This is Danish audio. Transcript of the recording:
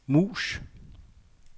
mus